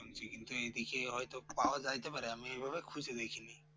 শুনছি কিন্তু এইদিকে হয়তো পাওয়া যাইতে পারে আমি এইভাবে খুঁজে দেখেনি